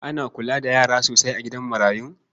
Ana kula da yara sosai a gidan marayun?